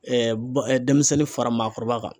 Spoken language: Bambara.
denmisɛnnin fara maakɔrɔba kan.